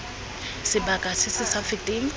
sebaka se se sa feteng